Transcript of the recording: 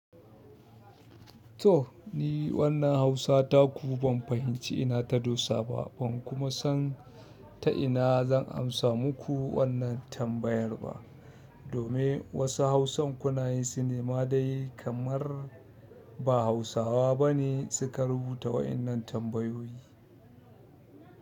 Toh ni wannan Hausa taku ban fahimci ina ta dosa ba, ban kuma san ta ina zan amsa muku wannan tambayar ba. Domin wasu Hausan kuna yin sun ma dai kamar ba Hausawa bane suka rubuta waɗannan tambayoyi.